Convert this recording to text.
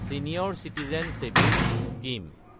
senior citizen savings scheme